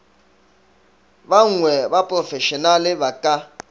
banngwe ba profešenale ba ka